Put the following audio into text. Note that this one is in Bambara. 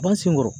Ban senkɔrɔ